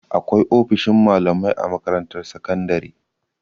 Akwai ofishin malamai a makarantar sakandare.